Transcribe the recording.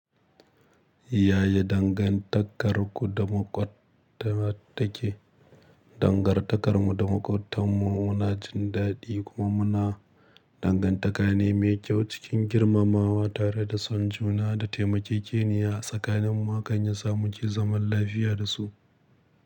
Yaya dangantakarku da maƙotta ta ke? Dangantakarmu da maƙotanmu muna jin daɗi kuma muna dangantaka ne mai kyau cikin girmamawa tare da son juna da taimakekeniya tsakaninmu haka ya samu ki zaman lafiya da su.